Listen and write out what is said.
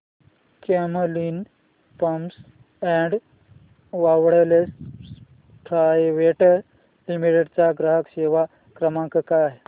Camlin pumps and valves private limited चा ग्राहक सेवा क्रमांक काय आहे